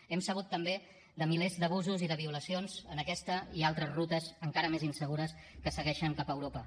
hem sabut també de milers d’abusos i de violacions en aquesta i altres rutes encara més insegures que segueixen cap a europa